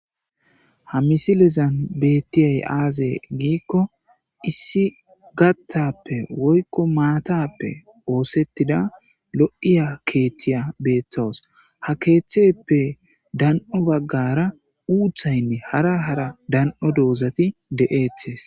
Ha misilezan beettiyay aaze giikko issi gatappe woykko maatappe oosettida lo7iya keeththiya beeththawus ha keeththeppe dan7o baggara uuthaynne hara hara dan,o doozati de,eethes.